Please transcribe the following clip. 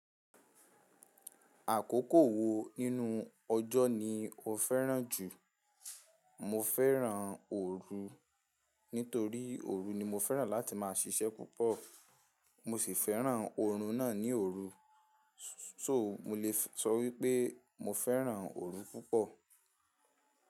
Àkókò wo nínú ọjọ́ ni o fẹ́ràn jù? Mo fẹ́ràn òru. Nítorí òru ni mo fẹ́ràn láti máa ṣiṣẹ́ púpọ̀. Mo sì fẹ́ràn oorun náà ni òru. So, mo lè sọ wípé mo fẹ́ràn òru púpọ̀.